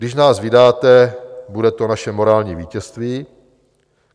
Když nás vydáte, bude to naše morální vítězství.